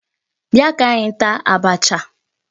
Bịa ka anyị taa abacha.